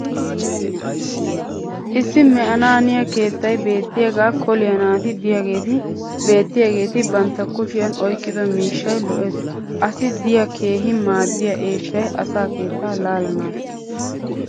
issi me'anaaniya keettay beetiyaagaa koliya naati diyaageeti beetiyaaageeti bantta kushiyan oyqqido miishshay lo'ees. assi diya keehi maadiya eeshshay asa keettaa laalanaassa.